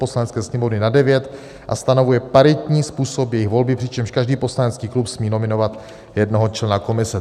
Poslanecké sněmovny na devět a stanovuje paritní způsob jejich volby, přičemž každý poslanecký klub smí nominovat jednoho člena komise."